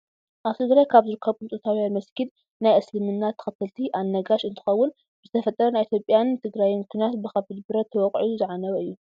ኣብ ትግራይ ካብ ዝርከቡ ጥንታዊያን መስጊድ ናይ እስልምና ተከተልቲ ኣልነጋሽ እንትከውን፣ ብዝተፈጠረ ናይ ኢትዮጵያን ትግራይን ኩናት ብከቢድ ብረት ተወቂዑ ዝዓነወ እዩ።